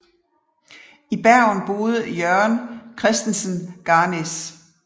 I Bergen boede Jørgen Christensen Garnaas